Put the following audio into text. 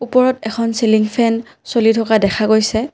ওপৰত এখন ceiling fan চলি থকা দেখা গৈছে।